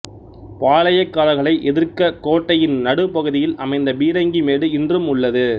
பாளையக்காரர்களை எதிர்க்க கோட்டையின் நடுப்பகுதியில் அமைத்த பீரங்கி மேடு இன்றும் உள்ளது